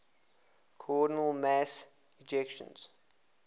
coronal mass ejections